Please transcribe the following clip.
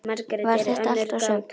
Var þetta allt og sumt?